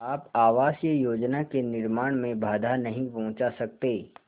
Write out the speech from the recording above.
आप आवासीय योजना के निर्माण में बाधा नहीं पहुँचा सकते